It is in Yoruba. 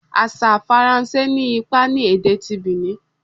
Asa Faranse ni ipa ni ede ti Benin